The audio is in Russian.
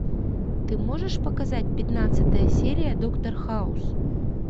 ты можешь показать пятнадцатая серия доктор хаус